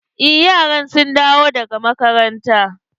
Eh yaran sun dawo daga makaranta.